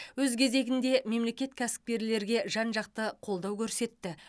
өз кезегінде мемлекет кәсіпкерлерге жан жақты қолдау көрсетті